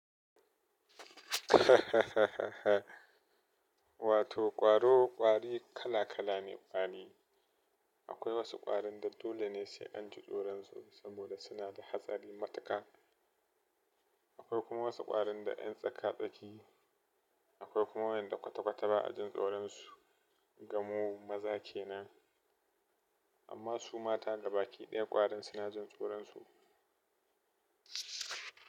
Wato ƙwaro, ƙwari, kala kala ne ƙwari. Akwai wasu ƙwarin da dole ne sai an ji tsoron su, saboda suna da hatsari matuƙa. Akwai kuma wasu ƙwarin da ƴan tsaka-tsaki Akwai kuma wa'inda kwata-kwata ba a jin tsoron su. Ga mu maza kenan. Amma su mata da baki ɗaya ƙwarin suna jin tsoron su.